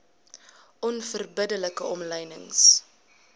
onverbidde like omlynings